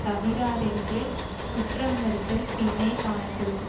தவிராரென்று குற்றம் வருதல் பின்னே காணப்படும்